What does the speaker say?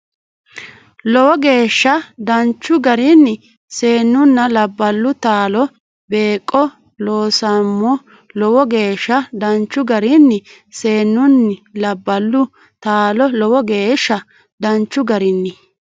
Lowo geeshsha danchu garinni Seennunna labballu taalo beeqqo loonsoommo Lowo geeshsha danchu garinni Seennunna labballu taalo Lowo geeshsha danchu garinni.